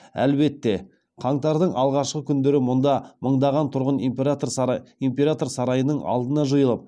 әлбетте қаңтардың алғашқы күндері мұнда мыңдаған тұрғын император сарайының алдына жиылып